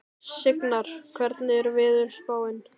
Signar, hvernig er veðurspáin?